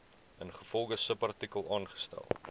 ingevolge subartikel aangestel